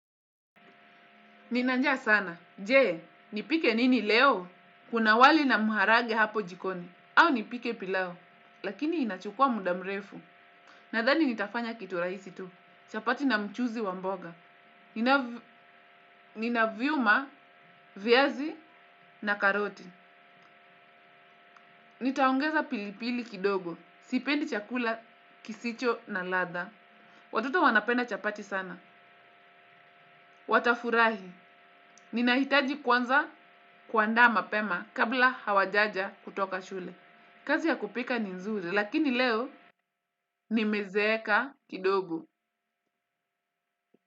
Nina njaa sana. Jee, nipike nini leo? Kuna wali na maharage hapo jikoni. Au nipike pilau. Lakini inachukua muda mrefu. Nadhani nitafanya kitu rahisi tu. Chapati na mchuzi wa mboga. Nina vyuma, viazi na karoti. Nitaongeza pilipili kidogo. Sipendi chakula, kisicho na latha. Watoto wanapenda chapati sana. Watafurahi. Ninahitaji kwanza kuandaa mapema kabla hawajaja kutoka shule. Kazi ya kupika ni nzuri lakini leo nimezeeka kidogo.